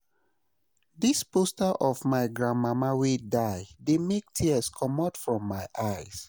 Dis grief dey like load for our head, abeg make una bear wit us`.